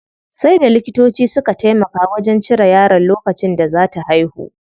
Sai da likitoci suka taimaka wajen cire yaron lokacin da zaa ta haihu.